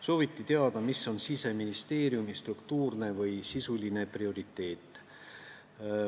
Sooviti teada, mis on Siseministeeriumi struktuurne või sisuline prioriteet.